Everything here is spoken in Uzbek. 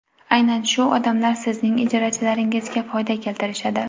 Aynan shu odamlar sizning ijarachilaringizga foyda keltirishadi.